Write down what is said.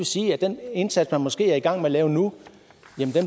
sige at den indsats man måske er i gang med at lave nu